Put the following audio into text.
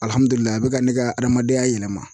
Alihamudulila a bi ka ne ka hadamadenya yɛlɛma